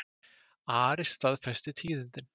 Ari staðfesti tíðindin.